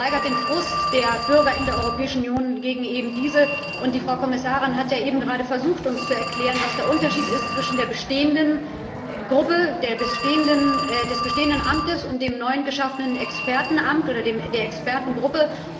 Das steigert den Frust der Bürger in der Europäischen Union gegen eben diese, und die Frau Kommissarin hat ja eben gerade versucht, uns zu erklären, was der Unterschied ist zwischen der bestehenden Gruppe, dem bestehenden Amt, und dem neu geschaffenen Expertenamt oder der Expertengruppe.